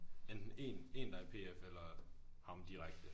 Enten én én der er i pf eller ham direkte